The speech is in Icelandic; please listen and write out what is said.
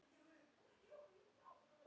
Þar bíða vinir í varpa.